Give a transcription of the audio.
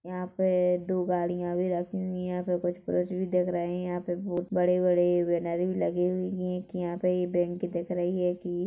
यहाँ पे दो गाड़िया भी रखी हुई है यहाँ पे कुछ पुरुष भी दिख रहे है यहाँ पे बहुत बड़े बड़े बैनर भी लगे हुई है के यहाँ पे एक बैंक दिख रही हैगी--